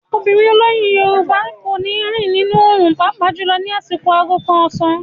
Obìnrin olóyún Yorùbá kò ní rìn nínú òòrùn pàápàá jùlọ ní àsìkò aago kan ọ̀sán.